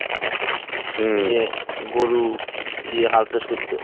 হুম গরু দিয়ে হাল চাষ করতো